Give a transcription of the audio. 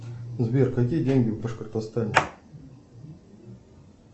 сбер какие деньги в башкортостане